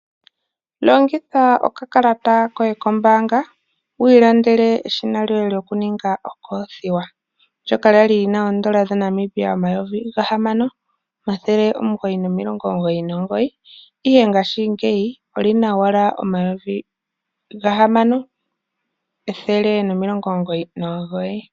Longitha okakalata koye kombaanga wu ilandele eshina lyokuninga okolothiwa lyoka lya li lina oodola dhaNamibia omayovi ga hamano omathele omugoyi nomugoyi. Ihe ngaashingeyi olina ashike omayovi gahamano ethele nomilongo omugoyi nomugoyi.